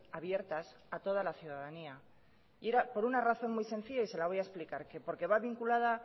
abiertas a toda la ciudadanía y era por una razón muy sencilla y se la voy a explicar que porque va vinculada